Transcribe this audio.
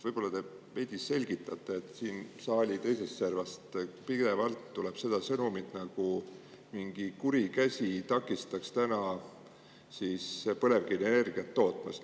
Võib-olla te veidi selgitate seda, et siit saali teisest servast tuleb pidevalt see sõnum, nagu mingi kuri käsi takistaks meid täna põlevkivienergiat tootmast.